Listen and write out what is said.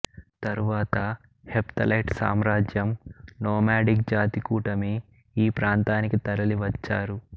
తరువాత హెప్తలైట్ సామ్రాజ్యం నోమాడిక్ జాతి కూటమి ఈ ప్రాంతానికి తరలి వచ్చారు